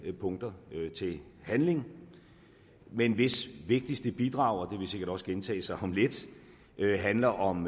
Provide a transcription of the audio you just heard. punkter til handling men hvis vigtigste bidrag og det vil sikkert også gentage sig om lidt handler om